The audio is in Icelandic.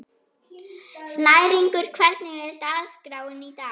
Snæringur, hvernig er dagskráin í dag?